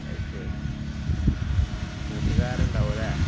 അത് ശരി. കൂട്ടുകാരുണ്ടാവും അല്ലേ.